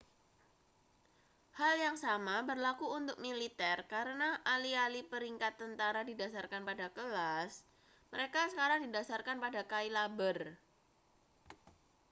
hal yang sama berlaku untuk militer karena alih-alih peringkat tentara didasarkan pada kelas mereka sekarang didasarkan pada cailaber